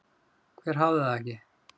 Hver hafði það ekki?